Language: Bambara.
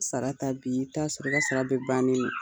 Sara ta bi i bi taa sɔrɔ ka ka sara bɛɛ bannen don.